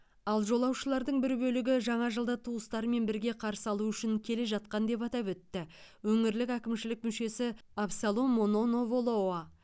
ал жолаушылардың бір бөлігі жаңа жылды туыстарымен бірге қарсы алу үшін келе жатқан деп атап өтті өңірлік әкімшілік мүшесі абсалом мононо волоа